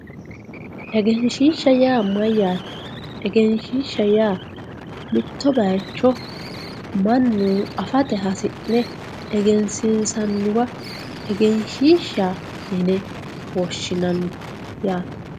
egenshiishsha yaa mayyaate? egenshiishsha yaa mitto bayiicho mannu afate hasi'ne egensiinsanniwa egenshiishsha yine woshshinanni yaate.